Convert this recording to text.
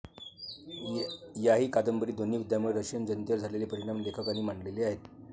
याही कादंबरीत दोन्ही युद्धांमुळे रशियन जनतेवर झालेले परिणाम लेखकांनी मांडले आहेत.